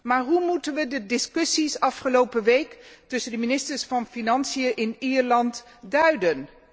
Maar hoe moeten wij de discussies afgelopen week tussen de ministers van Financiën in Ierland duiden?